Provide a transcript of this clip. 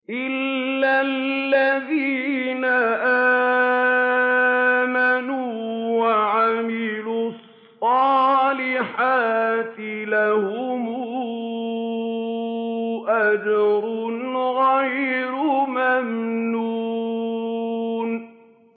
إِلَّا الَّذِينَ آمَنُوا وَعَمِلُوا الصَّالِحَاتِ لَهُمْ أَجْرٌ غَيْرُ مَمْنُونٍ